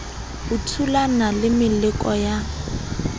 o thulana le meleko ya